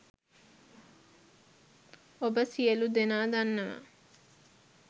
ඔබ සියලුදෙනා දන්නවා